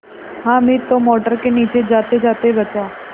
हामिद तो मोटर के नीचे जातेजाते बचा